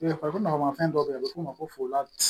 fɛn dɔ bɛ yen a bɛ f'o ma ko ladi